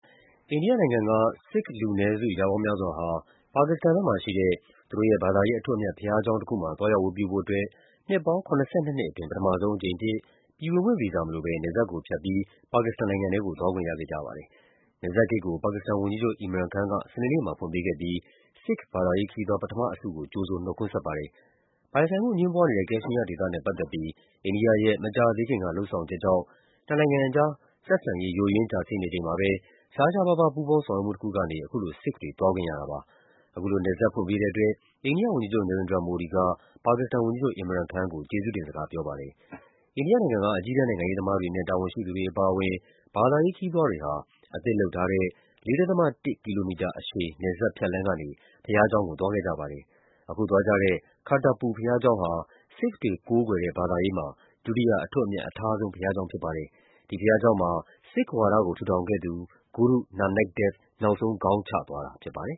အိန္ဒိယနိုင်ငံက ဆစ်ခ်လူနည်းစု ရာပေါင်းများစွာဟာ ပါကစ္စတန်ဘက်မှာရှိတဲ့ သူတို့ရဲ့ ဘာသာရေး အထွတ်အမြတ် ဘုရားကျောင်းတခုမှာ သွားရောက်ဝတ်ပြုဖို့အတွက် နှစ်ပေါင်း ၇၂ နှစ်အတွင်း ပထမဆုံးအကြိမ်အဖြစ် ပြည်ဝင်ခွင့်ဗီဇာမလိုဘဲ နယ်စပ်ကိုဖြတ်ပြီး ပါကစ္စတန်နိုင်ငံထဲကို သွားခွင့်ရခဲ့ကြပါတယ်။ နယ်စပ်ဂိတ်ကို ပါကစ္စတန်ဝန်ကြီးချုပ် Imran Khan က စနေနေ့မှာ ဖွင့်ပေးခဲ့ပြီး ဆစ်ခ် ဘာသာရေးခရီးသွား ပထမအစုကို ကြိုဆို နှုတ်ခွန်းဆက်ပါတယ်။ ပိုင်ဆိုင်မှုအငြင်းပွားနေတဲ့ ကက်ရှ်မီးယားဒေသနဲ့ ပတ်သက်ပြီး အိန္ဒိယရဲ့ မကြာသေးခင်က လုပ်ဆောင်ချက်ကြောင့် နှစ်နိုင်ငံကြား ဆက်ဆံရေး ယိုယွင်းကျဆင်းနေချိန်မှာပဲ ရှားရှားပါးပါး ပူးပေါင်းဆောင်ရွက်မှုတခုကနေ အခုလို ဆစ်ခ်ဘာသာဝင်တွေ သွားခွင့်ရတာပါ။ အခုလို နယ်စပ်ဖွင့်ပေးတဲ့အတွက် အိန္ဒိယဝန်ကြီးချုပ် Narendra Modi က ပါကစ္စတန်ဝန်ကြီးချုပ် Imran Khan ကို ကျေးဇူးတင်စကား ပြောပါတယ်။ အိန္ဒိယနိုင်ငံက အကြီးတန်း နိုင်ငံရေးသမားတွေနဲ့ တာဝန်ရှိသူတွေ အပါအဝင် ဘာသာရေးခရီးသွားတွေဟာ အသစ်လုပ်ထားတဲ့ ၄.၁ ကီလိုမီတာအရှည် နယ်စပ်ဖြတ်လမ်းကနေ ဘုရားကျောင်းကို သွားခဲ့ကြပါတယ်။ အခုသွားကြတဲ့ Kartarpur ဘုရားကျောင်းဟာ ဆစ်ခ်ဘာသာရေးမှာ ဒုတိယ အထွတ်အမြတ်အထားဆုံး ဘုရားကျောင်းဖြစ်ပါတယ်။ ဒီဘုရားကျောင်းမှာ ဆစ်ခ်ဝါဒကို ထူထောင်ခဲ့သူ ဂုရု Nanak Dev နောက်ဆုံးခေါင်းချသွားတာ ဖြစ်ပါတယ်